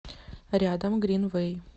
рядом гринвэй